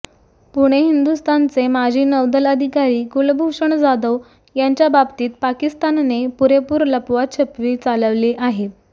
पुणे हिंदुस्थानचे माजी नौदल अधिकारी कुलभूषण जाधव यांच्या बाबतीत पाकिस्तानने पुरेपूर लपवाछपवी चालवली आहे